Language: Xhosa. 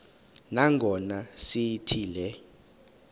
nangona sithi le